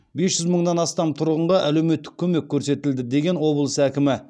бес жүз мыңнан астам тұрғынға әлеуметтік көмек көрсетілді деген облыс әкімі